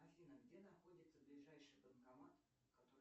афина где находится ближайший банкомат который